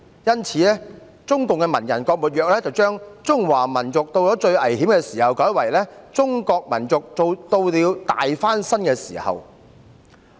因此，中共文人郭沫若將"中華民族到了最危險的時候"修改為"中國民族到了大翻身的時候"。